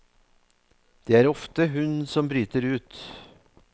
Det er ofte hun som bryter ut.